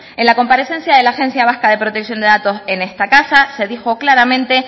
en la comparecencia de la agencia vasca de protección de datos en esta casa se dijo claramente